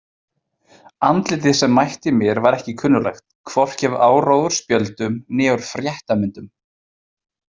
Andlitið sem mætti mér var ekki kunnuglegt, hvorki af áróðursspjöldum né úr fréttamyndum.